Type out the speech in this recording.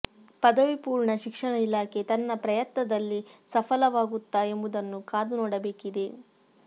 ಪದವಿ ಪೂರ್ಣ ಶಿಕ್ಷಣ ಇಲಾಖೆ ತನ್ನ ಪ್ರಯತ್ನದಲ್ಲಿ ಸಫಲವಾಗುತ್ತಾ ಎಂಬುದನ್ನು ಕಾದು ನೋಡಬೇಕಿದೆ